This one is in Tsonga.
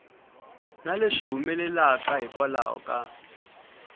na leswi humelelaka hikwalaho ka